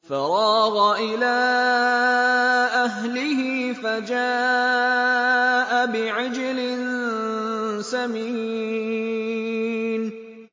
فَرَاغَ إِلَىٰ أَهْلِهِ فَجَاءَ بِعِجْلٍ سَمِينٍ